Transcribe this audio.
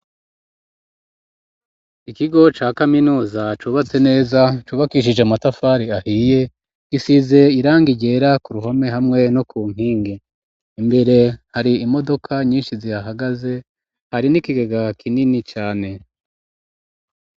Ikigo ca kaminuza cubatse neza cubakishije amatafari ahiye gisize irangi ryera ku ruhome hamwe no ku nkingi imbere hari imodoka nyishi zihahagaze hari n'ikigega kinini cane.